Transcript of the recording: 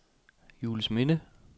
Juelsminde